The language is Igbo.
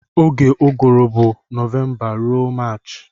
Oge uguru bu novemba rụọ marchi.